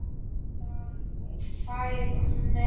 Þá fær hún meira.